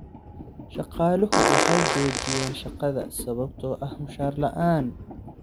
Shaqaaluhu waxay joojiyen shaqada sababtoo ah mushahar la'aan.